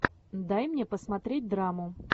дай мне посмотреть драму